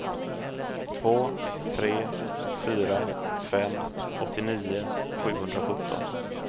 två tre fyra fem åttionio sjuhundrasjutton